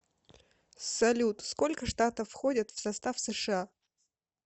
салют сколько штатов входят в состав сша